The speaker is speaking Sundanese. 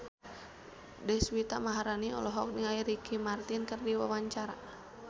Deswita Maharani olohok ningali Ricky Martin keur diwawancara